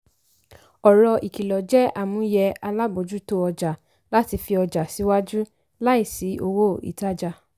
ọ̀rọ̀ ikilọ jẹ́ àmúyẹ alábòjútó ọjà láti fi ọjà síwájú láìsí owó ìtajà.